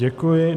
Děkuji.